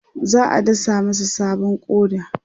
za'a dasa masa sabon ƙoda